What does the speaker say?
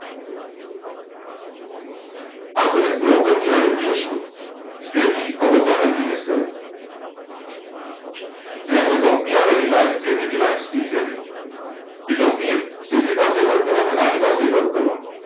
આપણે એક broker SEBI આ બધા ને કરે આયા કોઈ company આવે reliance જેવી reliance ની જેવી તે company SEBI પાસે ઇ વર્ક કરે ને આની પાસે ઇ વર્ક કરવાનું